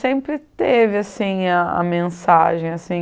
Sempre teve assim a mensagem assim.